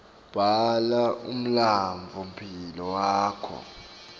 bhala umlandvomphilo wakho